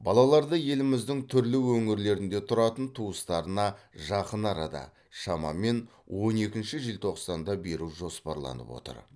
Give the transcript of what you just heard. балаларды еліміздің түрлі өңірлерінде тұратын туыстарына жақын арада шамамен он екінші желтоқсанда беру жоспарланып отыр